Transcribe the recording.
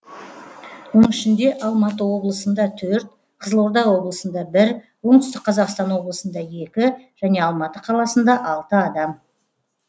оның ішінде алматы облысында төрт қызылорда облысында бір оңтүстік қазақстан облысында екі және алматы қаласында алты адам